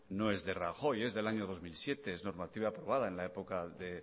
no es de rajoy es del año dos mil siete es la normativa aprobada en la época de